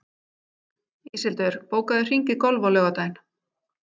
Íshildur, bókaðu hring í golf á laugardaginn.